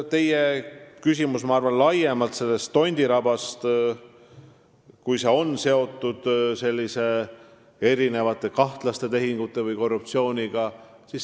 Teie küsimus oli Tondiraba keskuse kohta ja selle kohta, kas see on seotud kahtlaste tehingute või korruptsiooniga.